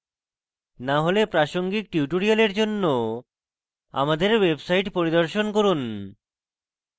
না হলে প্রাসঙ্গিক tutorial জন্য আমাদের website পরিদর্শন করুন